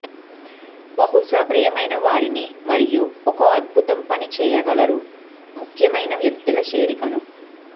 బహుశా ప్రియమైన వారిని మరియు ఒక అద్భుతం పని చేయగలరు ముఖ్యమైన వ్యక్తుల చేరికను